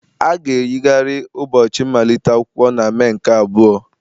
A ga-eyigharị ụbọchị mmalite ụlọ akwụkwọ na Mee nke abụọ.